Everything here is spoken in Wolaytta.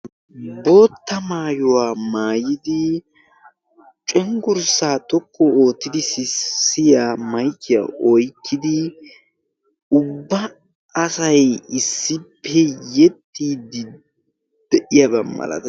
bootta maayuwaa maayidi cenggurssaa toqqu oottidi sissiya maykiya oyqqidi ubba asay issippe yexxiiddi de7iyaabaa malatees